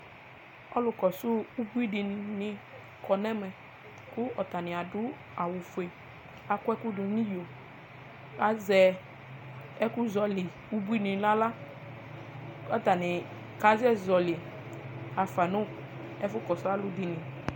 ɔlu kɔsu ubui di ni ni kɔ n'ɛmɛ kò atani ado awu fue akɔ ɛkò do n'iyo azɛ ɛkòzɔli ubuini n'ala k'atani kasɛ zɔli afa no ɛfu kɔsu alo dini